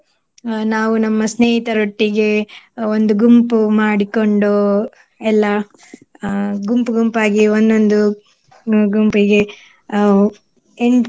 ಅಹ್ ನಾವು ನಮ್ಮ ಸ್ನೇಹಿತೆರೊಟ್ಟಿಗೆ ಅಹ್ ಒಂದು ಗುಂಪು ಮಾಡಿಕೊಂಡು ಎಲ್ಲ ಅಹ್ ಗುಂಪು ಗುಂಪಾಗಿ ಒಂದೊಂದು ಹ್ಮ್ ಗುಂಪಿಗೆ ಹ್ಮ್ ಎಂಟ್ನೆ